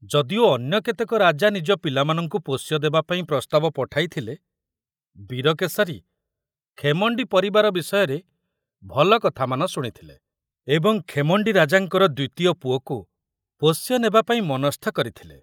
ଯଦିଓ ଅନ୍ୟ କେତେକ ରାଜା ନିଜ ପିଲାମାନଙ୍କୁ ପୋଷ୍ୟ ଦେବାପାଇଁ ପ୍ରସ୍ତାବ ପଠାଇଥିଲେ, ବୀରକେଶରୀ ଖେମଣ୍ଡି ପରିବାର ବିଷୟରେ ଭଲ କଥାମାନ ଶୁଣିଥିଲେ ଏବଂ ଖେମଣ୍ଡି ରାଜାଙ୍କର ଦ୍ୱିତୀୟ ପୁଅକୁ ପୋଷ୍ୟ ନେବାପାଇଁ ମନସ୍ଥ କରିଥିଲେ।